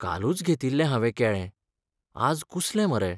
कालूच घेतिल्लें हावें केळें, आज कुसलें मरे.